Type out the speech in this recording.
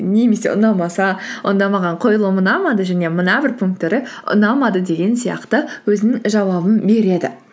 немесе ұнамаса онда маған қойылым ұнамады және мына бір пункттары ұнамады деген сияқты өзінің жауабын береді